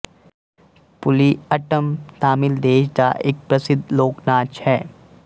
ਪੁਲੀ ਅੱਟਮ ਤਾਮਿਲ ਦੇਸ਼ ਦਾ ਇੱਕ ਪ੍ਰਸਿੱਧ ਲੋਕ ਨਾਚ ਹੈ